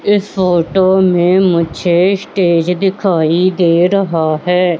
इस फोटो में मुझे स्टेज दिखाई दे रहा है।